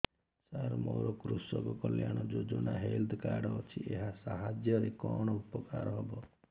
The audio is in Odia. ସାର ମୋର କୃଷକ କଲ୍ୟାଣ ଯୋଜନା ହେଲ୍ଥ କାର୍ଡ ଅଛି ଏହା ସାହାଯ୍ୟ ରେ କଣ ଉପକାର ହବ